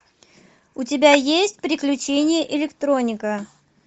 у тебя есть приключения электроника